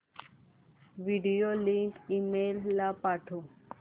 video link email ला पाठव